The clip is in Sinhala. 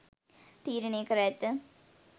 තීරණය කර ඇත.